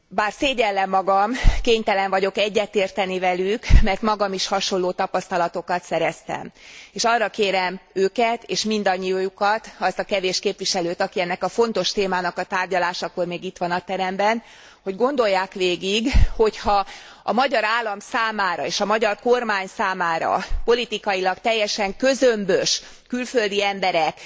Bár szégyellem magam, kénytelen vagyok egyetérteni velük, mert magam is hasonló tapasztalatokat szereztem, és arra kérem őket, és mindannyiójukat, azt a kevés képviselőt, aki ennek a fontos témának a tárgyalásakor még itt van a teremben, hogy gondolják végig, hogy ha a magyar állam számára és a magyar kormány számára politikailag teljesen közömbös külföldi emberek